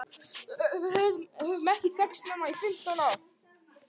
Við höfum ekki þekkst nema í fimmtán ár.